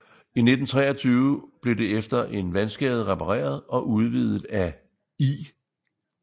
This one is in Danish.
I 1923 blev det efter en vandskade repareret og udvidet af I